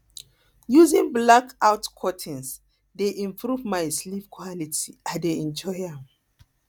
using blackout curtains dey improve my sleep quality i dey enjoy am